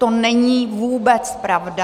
To není vůbec pravda.